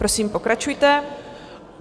Prosím, pokračujte.